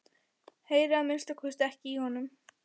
Heyri að minnsta kosti ekki í honum.